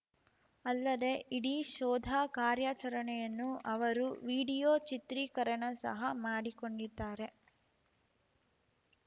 ಅಲ್ಲದೆ ಇಡೀ ಶೋಧ ಕಾರ್ಯಾಚರಣೆಯನ್ನು ಅವರು ವಿಡಿಯೋ ಚಿತ್ರೀಕರಣ ಸಹ ಮಾಡಿಕೊಂಡಿದ್ದಾರೆ